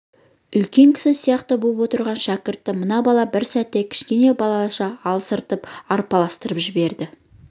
үлкен кісі сияқты боп отырған шәкіртті мына бала бір сәтте кішкене балаша алыстырып арпалыстырып жіберді